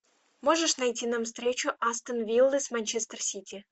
можешь найти нам встречу астон виллы с манчестер сити